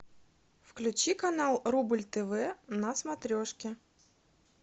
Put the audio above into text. включи канал рубль тв на смотрешке